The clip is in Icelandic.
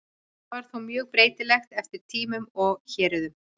Þetta var þó mjög breytilegt eftir tímum og héruðum.